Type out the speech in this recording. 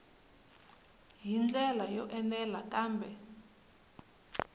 hi ndlela yo enela kambe